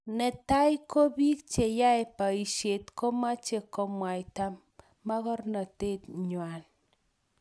Netai ko bik che yae boishet komache komwaita magornatet ngwai